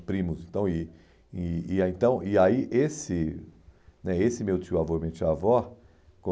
primos então e e e ah então E aí esse né esse meu tio avô e minha tia avó,